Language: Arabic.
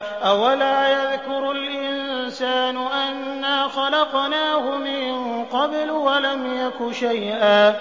أَوَلَا يَذْكُرُ الْإِنسَانُ أَنَّا خَلَقْنَاهُ مِن قَبْلُ وَلَمْ يَكُ شَيْئًا